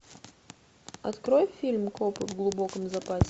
открой фильм копы в глубоком запасе